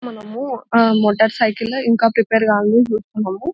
మనము మోటార్ సైకిళ్ళు ఇంకా ప్రిపేర్ కాలేదని చూస్తున్నాము --